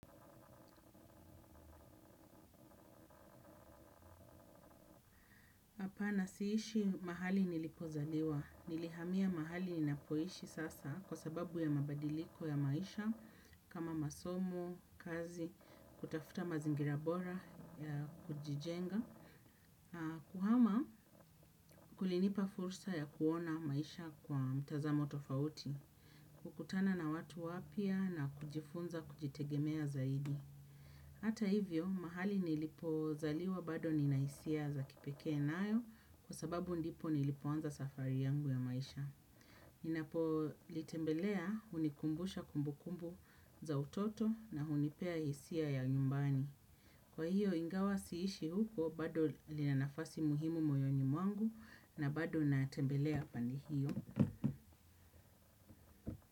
Hapana siishi mahali nilipozaliwa. Nilihamia mahali ninapoishi sasa kwa sababu ya mabadiliko ya maisha kama masomo, kazi, kutafuta mazingira bora ya kujijenga, kuhama kulinipa fursa ya kuona maisha kwa mtazamo tofauti, kukutana na watu wapya na kujifunza kujitegemea zaidi. Hata hivyo, mahali nilipozaliwa bado ninahisia za kipekee nayo kwa sababu ndipo nilipoanza safari yangu ya maisha. Ninapo litembelea hunikumbusha kumbukumbu za utoto na hunipea hisia ya nyumbani. Kwa hiyo, ingawa siishi huko bado lina nafasi muhimu moyo mwangu na bado natembelea pande hiyo.